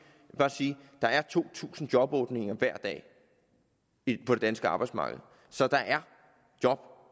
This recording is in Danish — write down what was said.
bare sige at der er to tusind jobåbninger hver dag på det danske arbejdsmarked så der er job